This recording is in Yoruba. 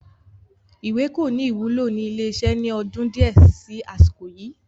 Ìwé kò ní wúlò ni ilé iṣẹ́ ni ọdún di ẹ síí àsìkò yìí